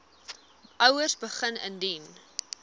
ouers begin indien